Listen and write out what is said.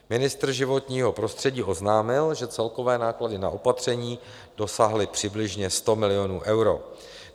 Ministr životního prostředí oznámil, že celkové náklady na opatření dosáhly přibližně 100 milionů eur.